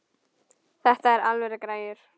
Þetta eru alvöru græjur.